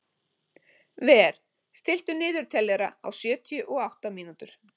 Ver, stilltu niðurteljara á sjötíu og átta mínútur.